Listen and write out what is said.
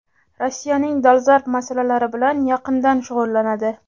Rossiyaning dolzarb masalalari bilan yaqindan shug‘ullanadi.